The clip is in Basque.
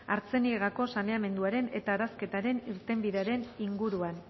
artziniegako saneamenduaren eta arazketaren irtenbidearen inguruan